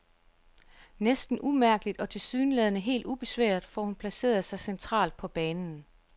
Næsten umærkeligt og tilsyneladende helt ubesværet får hun placeret sig centralt på banen.